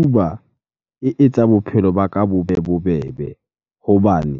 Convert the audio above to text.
Uber e etsa bophelo ba ka bo be bobebe. Hobane